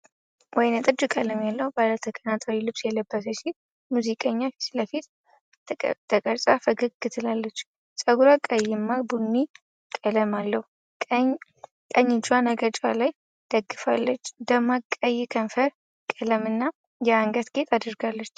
ወይንጠጅ ቀለም ያለው ባለ ተቀናጣሪ ልብስ የለበሰች ሴት ሙዚቀኛ ፊት ለፊት ተቀርጻ ፈገግ ትላለች። ጸጉሯ ቀይማ ቡኒ ቀለም አለው። ቀኝ እጇን አገጯ ላይ ደግፋለች፤ ደማቅ ቀይ ከንፈር ቀለምና የአንገት ጌጥ አድርጋለች።